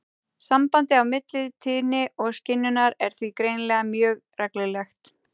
Sambandið á milli tíðni og skynjunar er því greinilega mjög reglulegt.